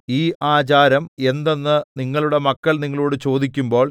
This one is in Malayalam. ഈ ആചാരം എന്തെന്ന് നിങ്ങളുടെ മക്കൾ നിങ്ങളോട് ചോദിക്കുമ്പോൾ